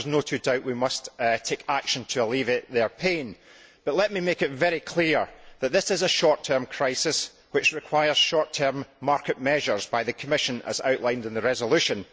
There is no doubt that we must take action to alleviate their pain, but let me make it very clear that this is a short term crisis which requires short term market measures by the Commission, as outlined in the resolution.